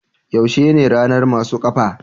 yaushe ne ranar masu kafa?